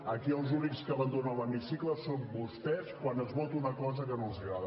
aquí els únics que abandonen l’hemicicle són vostès quan es vota una cosa que no els agrada